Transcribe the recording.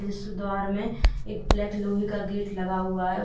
इस द्वार में एक ब्लैक लोहे का गेट लगा हुआ है।